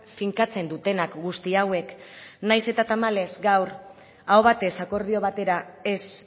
finkatzen dutenak guzti hauek nahiz eta tamalez gaur aho batez akordio batera ez